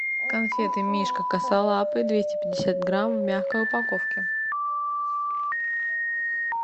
конфеты мишка косолапый двести пятьдесят грамм в мягкой упаковке